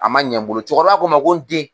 A ma ɲɛ n bolo, cɛkɔrɔba ko n ma ko n den